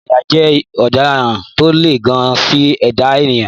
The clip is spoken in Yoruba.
Ìwẹ̀nùmọ́ ẹ̀yà jẹ́ ìwà ọ̀daràn tó le gan-an sí ẹ̀dá ènìyàn.